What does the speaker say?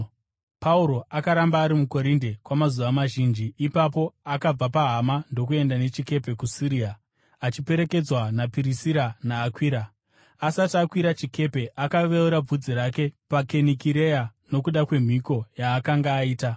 Pauro akaramba ari muKorinde kwamazuva mazhinji. Ipapo akabva pahama ndokuenda nechikepe kuSiria, achiperekedzwa naPirisira naAkwira. Asati akwira chikepe, akaveura bvudzi rake paKenikireya nokuda kwemhiko yaakanga aita.